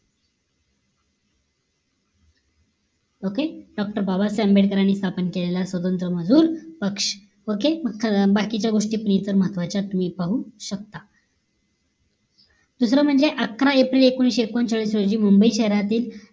okay doctor Babasaheb Ambedkar यांनी स्थापन केलेला स्वतंत्र मजूर पक्ष OKAY बाकीच्या गोष्टी पण इथं महत्वाच्या आहेत तुम्ही पाहु शकता दुसरं म्हणजे अकरा एप्रिल एकोणीशे एकोणचाळीस रोजी मुंबई शहरातील